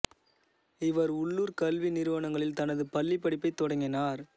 இவர் உள்ளூர் கல்வி நிறுவனங்களில் தனது பள்ளிப் படிப்பைத் தொடங்கினார்